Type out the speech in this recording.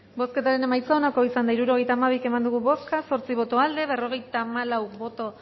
bozketaren emaitza onako izan da hirurogeita bi eman dugu bozka zortzi boto aldekoa cincuenta y cuatro